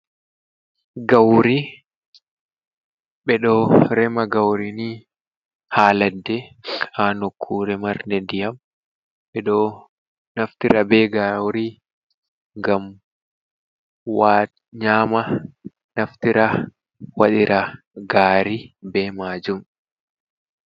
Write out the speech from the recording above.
Gauri, ɓe ɗo rema gauri ni ha ladde ha nokkure marde ndiyam, ɓe ɗo naftira be gauri ngam nyama naftira wadira gari be majum.